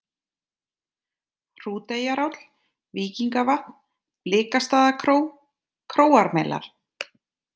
Hrúteyjaráll, Víkingavatn, Blikastaðakró, Króarmelar